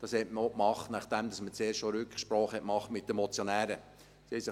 Das hat man entschieden, nachdem man Rücksprache mit den Motionären genommen hat.